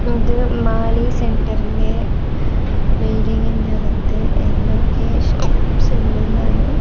അത് മാലി സെന്ററിന്റെ ബിൽഡിങ്ങിന്റെ അകത്ത് എന്തൊക്കെയോ എന്നാണ്--